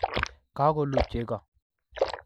Kagoluu chego